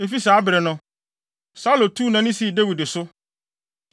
Efi saa bere no, Saulo tuu nʼani sii Dawid so.